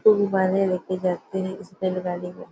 गुबारे लेके जाते हैं इस रेलगाडी पे--